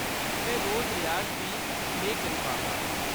में रोज रियाज बी नेईं कर पांदा।